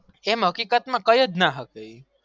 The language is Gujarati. કેમ હકીકત માં કયો જ ના હક એ